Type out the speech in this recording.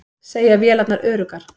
Segja vélarnar öruggar